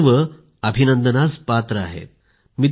हे सर्व अभिनंदनास पात्र आहेत